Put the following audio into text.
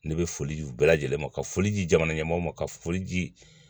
Ne bɛ foli di u bɛɛ lajɛlen ma ka foli di jamana ɲɛmɔgɔw ma ka foli di